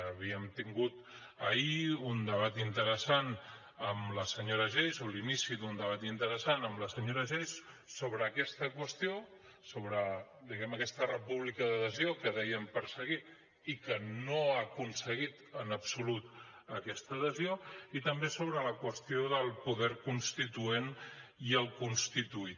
havíem tingut ahir un debat interessant amb la senyora geis o l’inici d’un debat interessant amb la senyora geis sobre aquesta qüestió sobre diguem ne aquesta república d’adhesió que deien perseguir i que no ha aconseguit en absolut aquesta adhesió i també sobre la qüestió del poder constituent i el constituït